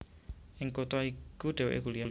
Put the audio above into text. Ing kutha iku dhèwèké kuliah